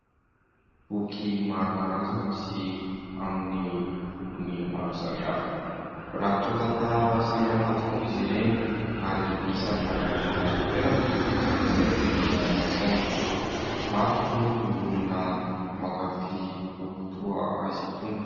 Boky maro karazany sy amin'ny lokony maro samihafa, mirakitra tantara samihafa tokoa izy ireny ary isany manana anjara toerana amin'ny fivelaran'ny saina, maro ary moa ny olona mankafy boky toa azy itony.